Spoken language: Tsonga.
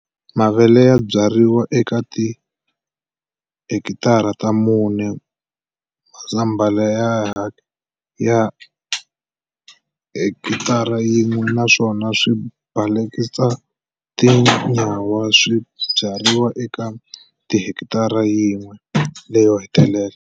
Mavele ya byariwa eka tihekitara ta mune, mazambhala eka hekitara yin'we, naswona swibalakatsa na tinyawa swi byariwa eka hekitara yin'we leyo hetelela.